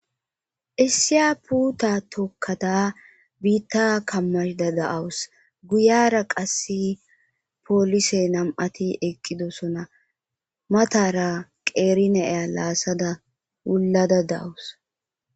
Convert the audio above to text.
Essiya puta tokkada biitta kammashda da'awus guyara qasse poolise nam'ati eqqidosona matara qeerineya laasada ullada dawus.